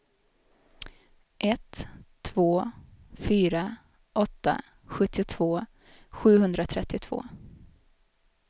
ett två fyra åtta sjuttiotvå sjuhundratrettiotvå